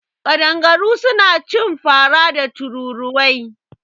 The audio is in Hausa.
Ƙadangaru suna cin fara da tururuwai.